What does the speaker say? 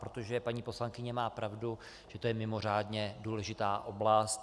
Protože paní poslankyně má pravdu, že to je mimořádně důležitá oblast.